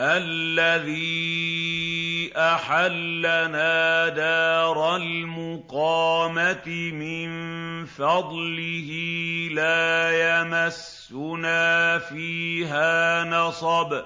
الَّذِي أَحَلَّنَا دَارَ الْمُقَامَةِ مِن فَضْلِهِ لَا يَمَسُّنَا فِيهَا نَصَبٌ